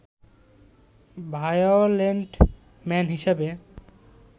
violent man হিসেবে